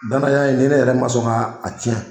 Danaya in ni ne yɛrɛ man sɔn ka a cɛn.